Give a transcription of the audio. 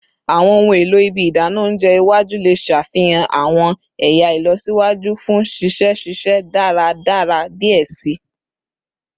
Awọn ohun elo ibi idana ounjẹ iwaju le ṣafihan awọn ẹya ilọsiwaju fun sise sise daradara diẹ sii